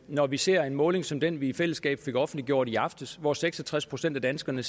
når vi ser en måling som den vi i fællesskab fik offentliggjort i aftes hvor seks og tres procent af danskerne